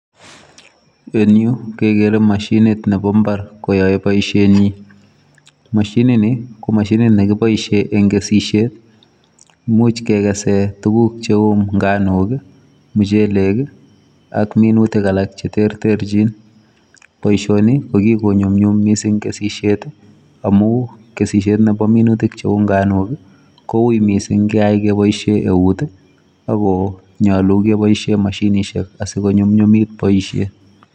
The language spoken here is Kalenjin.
En Yu kegere mashiniit nebo mbar koyae boisien nyiin , mashiniit ne boisiet en kesisiet imuuch kegeseen tuguuk che uu nganook ii ,muchelek ii ak minutik alaak che terterjiin, boisioni ko kikonyunyum missing boisiet ii amuun kesisiet nebo minutiik che uu nganook ii ko wui missing ketaach kebaisheen eut ii ako nyaluu kebaisheen mashinisheek asikonyumnyumit boisiet.